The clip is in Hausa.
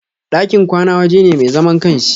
ɗakin kwana waje ne mai zaman ƙanshi.